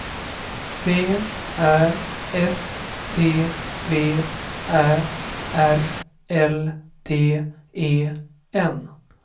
V Ä S T V Ä R L D E N